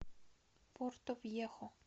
портовьехо